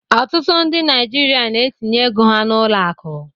Ọtụtụ ndị Naijiria na-etinye ego ha n'ụlọ akụ